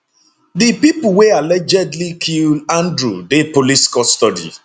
di pipo wey allegedly kill andrew dey police custody